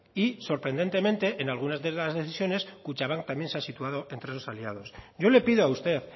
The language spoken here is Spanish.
y sorprendentemente en algunas de las decisiones kutxabank también se ha situado entre esos aliados yo le pido a usted